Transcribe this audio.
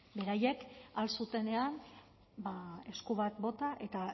beraiek ahal zutenean ba esku bat bota eta